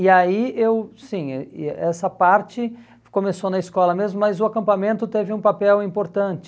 E aí eu, sim, eh e essa parte começou na escola mesmo, mas o acampamento teve um papel importante.